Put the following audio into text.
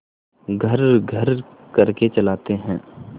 घर्रघर्र करके चलाते हैं